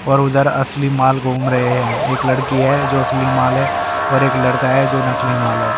और उधर असली माल घूम रहे हैं एक लड़की है जो असली माल है और एक लड़का है जो नकली माल है।